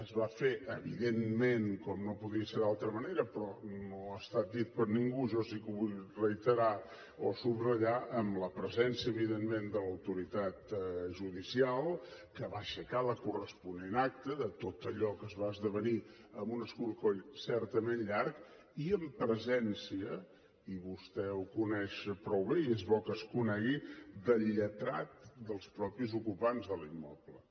es va fer evidentment com no podia ser d’altra manera però no ha estat dit per ningú i jo sí que ho vull reiterar o subratllar amb la presència evidentment de l’autoritat judicial que va aixecar la corresponent acta de tot allò que es va esdevenir amb un escorcoll certament llarg i en presència i vostè ho coneix prou bé i és bo que es conegui del lletrat dels mateixos ocupants de l’immoble